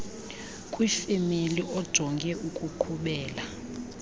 kwifemeli ojonge ukuqhubela